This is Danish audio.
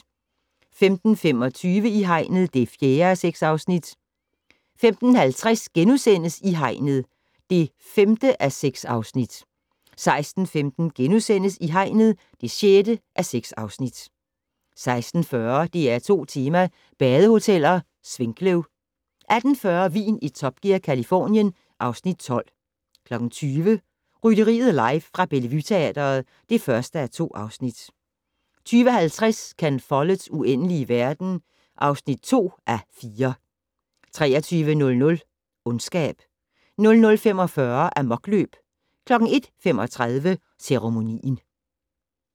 15:25: I hegnet (4:6) 15:50: I hegnet (5:6)* 16:15: I hegnet (6:6)* 16:40: DR2 Tema: badehoteller - Svinkløv 18:40: Vin i Top Gear - Californien (Afs. 12) 20:00: Rytteriet live fra Bellevue Teatret (1:2) 20:50: Ken Folletts Uendelige verden (2:4) 23:00: Ondskab 00:45: Amokløb 01:35: Ceremonien